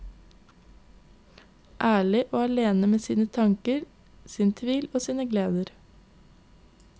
Ærlig og alene med sine tanker, sin tvil og sine gleder.